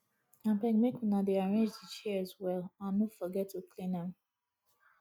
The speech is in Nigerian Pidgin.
abeg make una dey arrange the chairs well and no forget to clean am